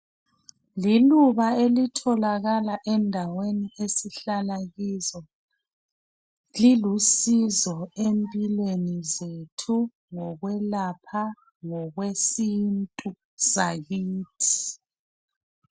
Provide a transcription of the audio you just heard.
Liluba elitholakala endaweni esihlala kizo. Lilusizo empilweni zethu ngokwelapha ngokwesintu sakithi.